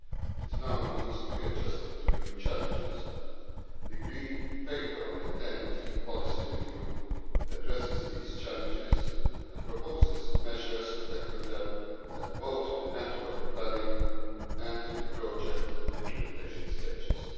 It now needs to be adjusted to new challenges. The green paper on the TEN T policy review addresses these challenges and proposes measures to tackle them at both the network planning and the project implementation stages.